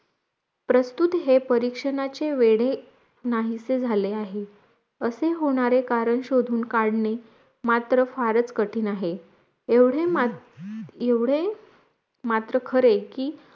प्रस्तुत हे परीक्षणाचे वेडे नाहीस झाले आहे असे होणारे करण शोधून काढणे मात्र फराच कठीण आहे एवढे मात्र खरे की